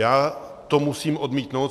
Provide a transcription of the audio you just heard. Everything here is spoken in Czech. Já to musím odmítnout.